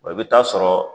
Wa i bɛ taa sɔrɔ